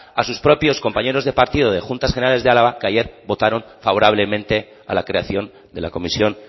a sus propios compañero de partido de juntas generales de álava que ayer votaron favorablemente a la creación de la comisión